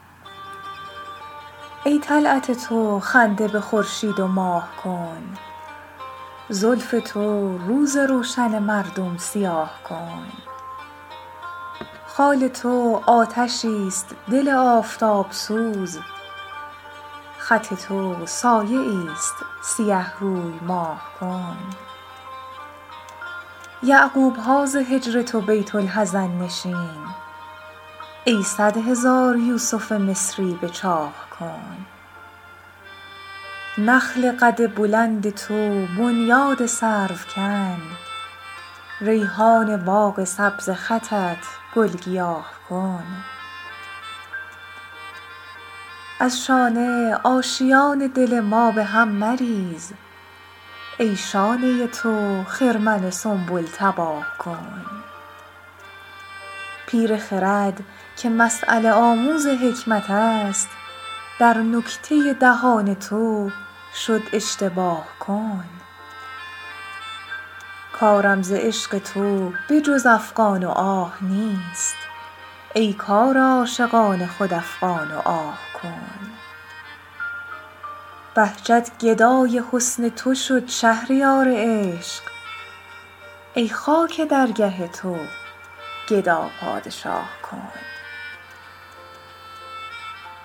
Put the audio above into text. ای طلعت تو خنده به خورشید و ماه کن زلف تو روز روشن مردم سیاه کن خال تو آتشی است دل آفتاب سوز خط تو سایه ای است سیه روی ماه کن یعقوب ها ز هجر تو بیت الحزن نشین ای صدهزار یوسف مصری به چاه کن نخل قد بلند تو بنیاد سرو کن ریحان باغ سبز خطت گل گیاه کن هرگز نرفته است به سر ماه را کلاه ای خود در این میان سر ما بی کلاه کن از شانه آشیان دل ما به هم مریز ای شانه تو خرمن سنبل تباه کن پیر خرد که مسیله آموز حکمت است در نکته دهان تو شد اشتباه کن کارم ز عشق تو به جز افغان و آه نیست ای کار عاشقان خود افغان و آه کن بهجت گدای حسن تو شد شهریار عشق ای خاک درگه تو گدا پادشاه کن